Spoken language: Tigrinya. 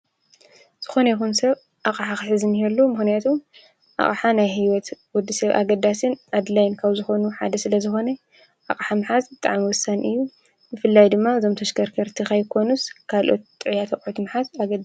ዝኾነ ይኹን ሰብ ኣቓሓኽሕዝን የሉ ምኾነያቱ ኣቕሓ ናይ ሕይወት ወዲ ሰብ ኣገዳስን ኣድላይን ካብ ዝኾኑ ሓደ ስለ ዝኾነይ ኣሕ ምሓዝ ጠዓምወሳን እዩ ።ንፍላይ ድማ ዞም ተሽከርከርቲ ኸይኮኑስ ካልኦት ጥዕያተኣቕትምሓት ኣገ